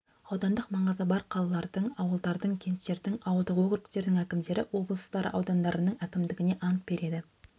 аудандық маңызы бар қалалардың ауылдардың кенттердің ауылдық округтердің әкімдері облыстар аудандарының әкімдеріне ант береді